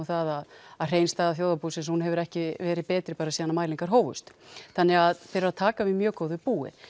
það að hrein staða þjóðarbúsins hefur ekki verið betri síðan mælingar hófust þannig að þeir eru að taka við mjög góðu búi